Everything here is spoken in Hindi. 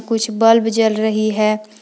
कुछ बल्ब जल रही है।